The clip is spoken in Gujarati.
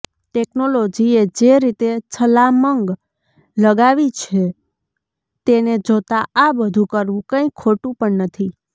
ટેકનોલોજીએ જે રીતે છલાંમગ લગાવી છે તેને જોતા આ બધુ કરવુ કંઈ ખોટુ પણ નથી